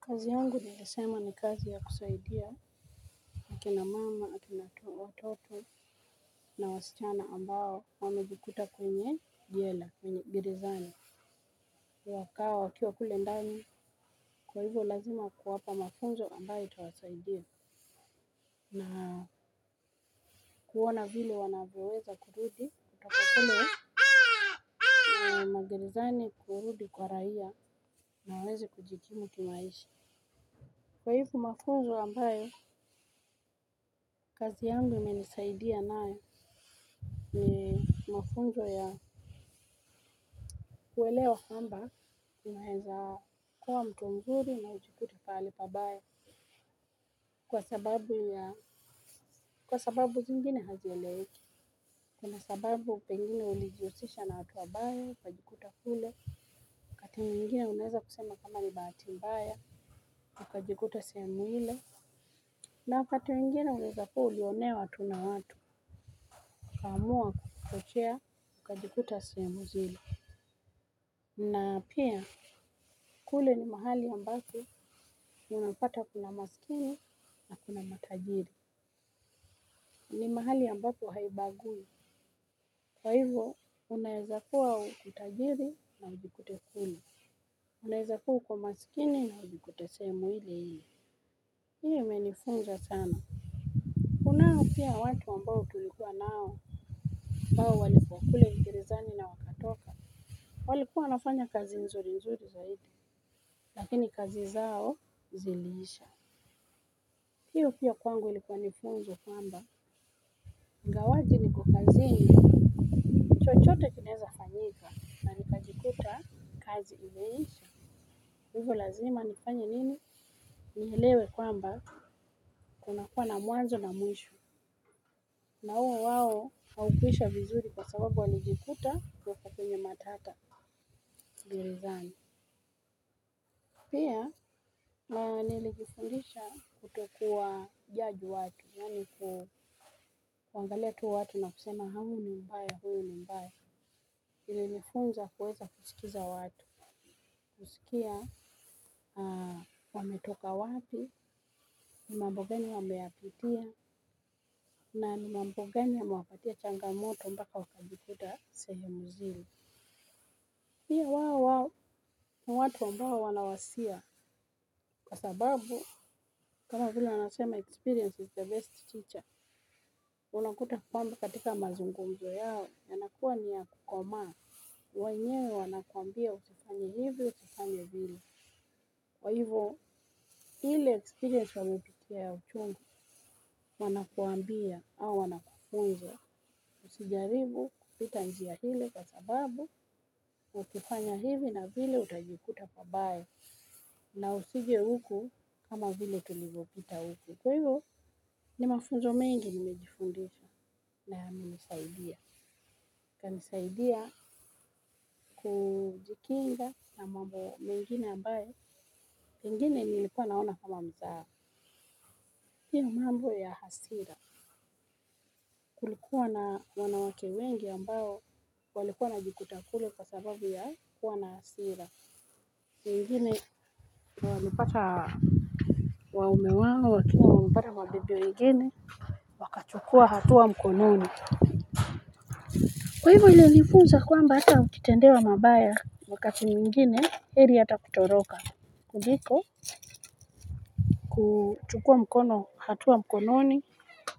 Kazi yangu nayasema ni kazi ya kusaidia. Kina na mama aki na tu wototo na wasichana ambao wamejikuta kwenye. Jela mgerizani. Wakawa wakiwa kule ndani kwa hivyo lazima kuwapa mafunzo ambayo itawasaidia. Na kuona vile wanavyoweza kurudi kutoka kule na magerizani kurudi kwa raia na waweze kujikimu kimaishi. Kwa hivyo mafunzo ambayo kazi yangu imenisaidia nayo ni. Mafunzo ya kuelewa kwamba unweza kuwa mtu mzuri na ujikute pahali pabaya kwa sababu ya kwa sababu zingine hazieleweki kuna sababu pengine ulijiusisha na watu wabaya ukajikuta kule kati mwingine unaweza kusema kama ni bahati mbaya ukajikuta sehemu ile na wakati mwingine unaweza kuwa ulionewa tu na watu ukaamua kuchochea ukajikuta sehemu zile. Na pia kule ni mahali ambako unapata kuna maskini na kuna matajiri. Ni mahali ambapo haibagui. Kwa hivyo unaezakuwa tajiri na ujikute kule. Unaezakuwa uko maskini na ujikute sehemu ile ile hiyo imenifunza sana. Kunao pia watu ambao tulikuwa nao ambao walikuwa kule gerezani na wakatoka. Walikuwa wanafanya kazi nzuri nzuri zaidi. Lakini kazi zao ziliisha. Hiyo pia kwangu likuwa ni funzo kwamba ingawaje niko kazini chochote kinaeza fanyika na nikajikuta kazi imeisha. Hivyo lazima nifanya nini. Nielewe kwamba kunakuwa na mwanzo na mwisho. Na uwe wao haukuisha vizuri kwa sababu walijikuta wako kwenye matata gerezani. Pia nilijifundisha kutokuwa jaji watu yaani ku kuangalia tu watu na kusema huyu ni mbaya huu ni mbaya ilinifunza kuweza kusikiza watu husikia wametoka wapi ni mambo gani wameyapitia ma ni mambo gani yamewapatia changamoto mpaka wakajikuta sehemu zile. Pia wao wao ni watu ambao wana wasia kwa sababu kama vile wanasema experience is the best teacher unakuta kwamba katika mazungumzo yao yanakuwa ni ya kukoma. Wenyewe wanakuambia usifanye hivi usifanye vile kwa hivyo. Ile experience wamepitia ya uchungu wanakuambia au wanafunza. Usijaribu kupita njia ile kwa sababu. Ukifanya hivi na vile utajikuta pabaya. Na usije huku kama vile tulivopita huku. Kwa hivyo ni mafunzo mengi nimejifundisha na yamenjsaidia. Ikanisaidia kujikinga na mambo mengine ambayo. Pengine nilikuwa naona kama mzaha. Hiyo mambo ya hasira. Kulikuwa na wanawake wengi ambao walikuwa wanajikuta kule kwa sababu ya kuwa na hasira. Wengine walipata waume wao wakiwa wamepata mabibi wengine. Kuchukua hatua mkononi. Kwa hivyo ilinifunza kwamba hata ukitendewa mabaya wakati mwingine heri hata kutoroka. Kuliko kuchukua mkono hatua mkononi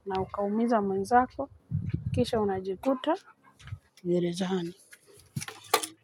na ukaumiza mwenzako. Kisha unajikuta gerezani.